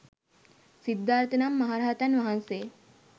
සිද්ධාර්ථ නම් මහරහතන් වහන්සේ